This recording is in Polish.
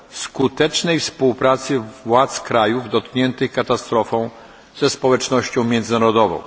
skutecznej współpracy władz krajów dotkniętych katastrofą ze społecznością międzynarodową.